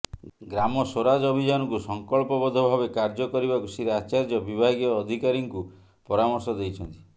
ଗ୍ରାମ ସ୍ୱରାଜ ଅଭିଯାନକୁ ସଂକଳ୍ପ ବଦ୍ଧ ଭାବେ କାର୍ଯ୍ୟ କରିବାକୁ ଶ୍ରୀ ଆଚାର୍ଯ୍ୟ ବିଭାଗୀୟ ଅଧିକାରୀଙ୍କୁ ପରାମର୍ଶ ଦେଇଛନ୍ତି